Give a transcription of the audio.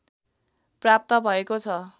प्राप्त भएको ६